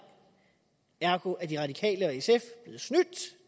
ergo er de radikale og sf blevet snydt